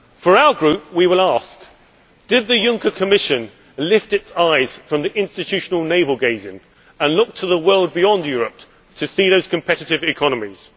In our group, we will ask did the Juncker Commission lift its eyes from the institutional naval gazing and look to the world beyond Europe to see those competitive economies?